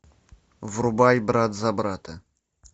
врубай брат за брата